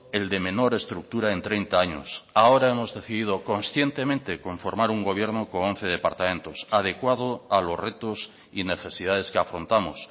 el de menor estructura en treinta años ahora hemos decidido conscientemente conformar un gobierno con once departamentos adecuado a los retos y necesidades que afrontamos